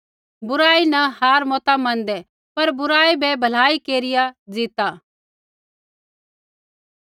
बुराई न हार मता मनदै पर बुराई बै भलाई केरिया ज़ीता